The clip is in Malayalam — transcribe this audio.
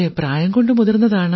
പ്രായം കൊണ്ട് മുതിർന്നതാണ്